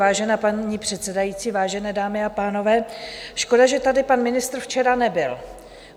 Vážená paní předsedající, vážené dámy a pánové, škoda, že tady pan ministr včera nebyl.